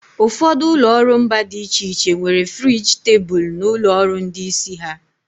Ụfọdụ ụlọ ọrụ mba dị iche iche nwere friji tebụl n'ụlọ ọrụ ndị isi ha.